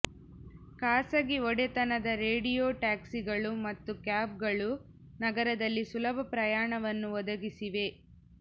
ಖಾಸಗಿ ಒಡೆತನದ ರೇಡಿಯೊ ಟ್ಯಾಕ್ಸಿಗಳು ಮತ್ತು ಕ್ಯಾಬ್ಗಳು ನಗರದಲ್ಲಿ ಸುಲಭ ಪ್ರಯಾಣವನ್ನು ಒದಗಿಸಿವೆ